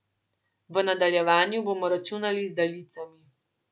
V nadaljevanju bomo računali z daljicami.